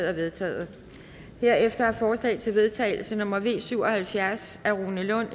er vedtaget herefter er forslag til vedtagelse nummer v syv og halvfjerds af rune lund